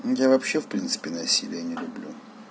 я вообще в принципе насилие не люблю